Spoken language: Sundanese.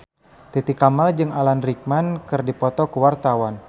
Titi Kamal jeung Alan Rickman keur dipoto ku wartawan